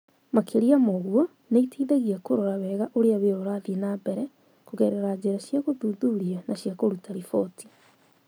Makĩria ma ũguo, nĩ ĩteithagia kũrora wega ũrĩa wĩra ũrathiĩ na mbere kũgerera njĩra cia gũthuthuria na cia kũruta riboti.